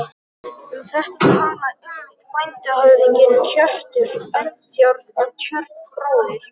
Um þetta talaði einmitt bændahöfðinginn Hjörtur Eldjárn á Tjörn, bróðir